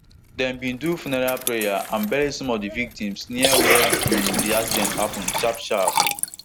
dem bin do funeral prayer and bury some of di victims near where um di accident happun sharpsharp